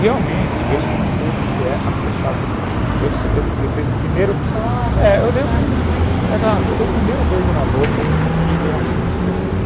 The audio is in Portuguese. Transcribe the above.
realmente eu experimentei o que que é a flechada do cupido eu dei o primeiro eu dei o primeiro beijo na boca e realmente percebi